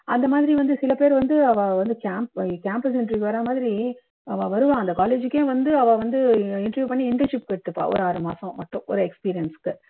அந்த மாதிரி வந்து சில பேர் வந்து அவா வந்து கேம்ப் campus interview வர்ற மாதிரி அவா வருவா அந்த college க்கே வந்து அவா வந்து interview பண்ணி internship எடுத்துப்பா ஒரு ஆறு மாசம் மட்டும் ஒரு experience க்கு